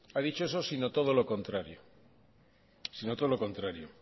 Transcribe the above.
ha dicho eso sino todo lo contrario sino todo lo contrario